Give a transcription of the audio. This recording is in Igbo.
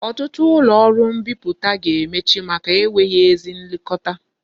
Otutu ulo oru mbiputa ga-emechi maka enweghi ezi nlekota